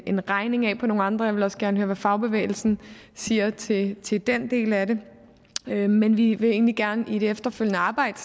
en regning af på nogle andre jeg vil også gerne høre hvad fagbevægelsen siger til til den del af det men vi vil egentlig gerne vi i det efterfølgende arbejde